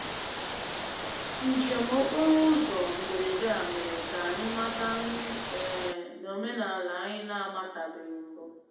Njem okporo ụzọ mberede a mere ka anyị mata nri um na omenala anyị na-amatabeghị mbụ.